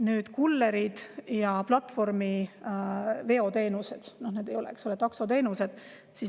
Nüüd kullerid ja platvormi veoteenused – need ei ole taksoteenused.